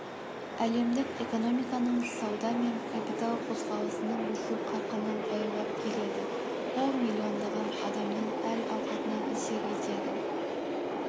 әлемдік экономиканың сауда мен капитал қозғалысының өсу қарқыны баяулап келеді ол миллиондаған адамның әл-ауқатына әсер етеді